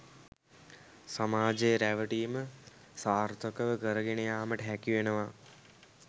සමාජය රැවටීම සාර්ථකව කරගෙන යාමට හැකිවෙනවා.